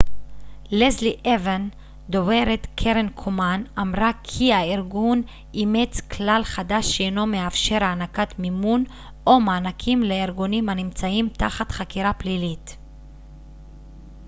לסלי אוון דוברת קרן קומן אמרה כי הארגון אימץ כלל חדש שאינו מאפשר הענקת מימון או מענקים לארגונים הנמצאים תחת חקירה פלילית